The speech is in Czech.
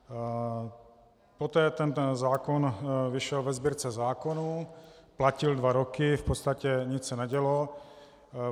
Poté ten zákon vyšel ve Sbírce zákonů, platil dva roky, v podstatě nic se nedělo.